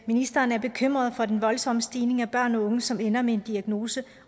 ministeren er bekymret for den voldsomme stigning af børn og unge som ender med en diagnose